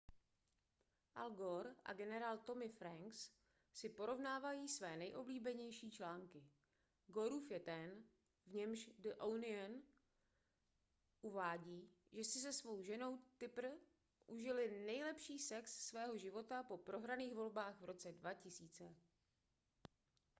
al gore a generál tommy franks si porovnávají své nejoblíbenější články gorův je ten v němž the onion uvádí že si se svou ženou tipper užili nejlepší sex svého života po prohraných volbách v roce 2000